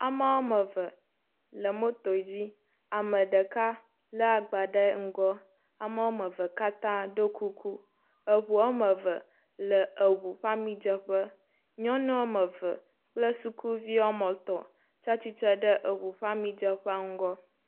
Ame eve le motor dzi. Ame ɖeka lé agbã ɖe egɔ. Ame evea katã ɖo kuku eŋu eve le ŋu ƒe amidzeƒe. nyɔnu eve kple suku etɔ tsi atsitre ɖe eŋu ƒe amidzraƒe ŋgɔ.